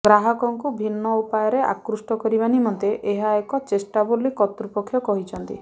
ଗ୍ରାହକଙ୍କୁ ଭିନ୍ନ ଉପାୟରେ ଆକୃଷ୍ଟ କରିବା ନିମନ୍ତେ ଏହା ଏକ ଚେଷ୍ଟା ବୋଲି କର୍ତ୍ତୃପକ୍ଷ କହିଛନ୍ତି